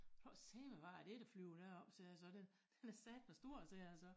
Prøv at sige mig hvad er dét der flyver deroppe sagde jeg så den den er satme stor sagde jeg så